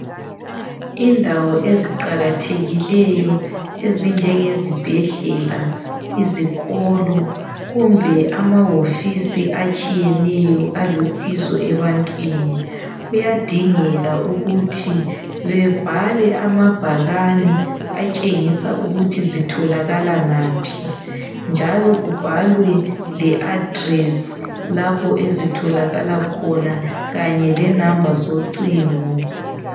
Indawo eziqakathekileyo ezinjengezibhedlela, izikolo kumbe amawofisi atshiyeneyo alusizo ebantwini, kuyadingeka ukuthi bebhale amabhakani atshengisa ukuthi zitholakala ngaphi njalo kubhalwe le address lapho ezitholakala khona kanye lenamba zocingo.